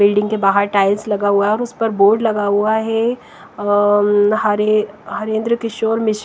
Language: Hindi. बिल्डिंग के बाहर टाइल्स लगा हुआ है और उस पर बोर्ड लगा हुआ है अ हरे हरेंद्र किशोर मिश्र।